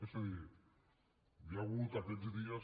és a dir hi ha hagut aquests dies